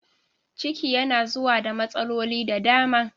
Ciki yana zuwa da matsaloli da dama